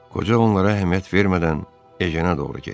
Qoca onlara əhəmiyyət vermədən Yejana doğru getdi.